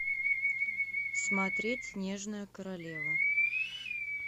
смотреть снежная королева